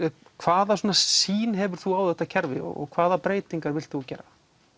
hvaða sýn hefur þú á þetta kerfi og hvaða breytingar vilt þú gera